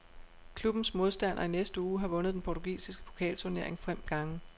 Klubbens modstander i næste uge har vundet den portugisiske pokalturnering fem gange.